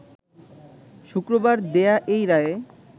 শুক্রবার দেয়া এই রায়ে